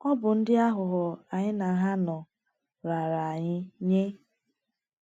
Ọ bụ ndị aghụghọ anyị na ha nọ raara anyị nye.